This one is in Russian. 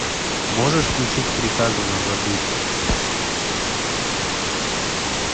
можешь включить приказано забыть